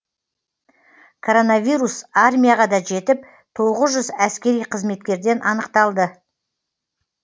коронавирус армияға да жетіп тоғыз жүз әскери қызметкерден анықталды